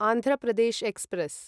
Andhra Pradesh express